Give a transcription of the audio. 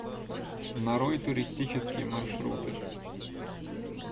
нарой туристические маршруты